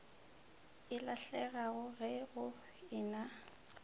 e lahlegago ge go ena